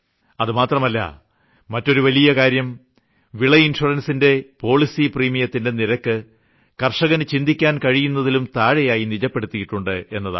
അതുമല്ല മറ്റൊരു വലിയ കാര്യം വിള ഇൻഷുറൻസിന്റെ പോളിസി പ്രീമിയത്തിന്റെ നിരക്ക് കർഷകനു ചിന്തിയ്ക്കാൻ കഴിയുന്നതിലും താഴെ ആയി നിജപ്പെടുത്തിയിട്ടുണ്ട് എന്നതാണ്